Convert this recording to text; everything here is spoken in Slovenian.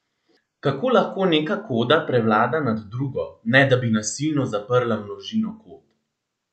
Kako lahko neka koda prevlada nad drugo, ne da bi nasilno zaprla množino kod?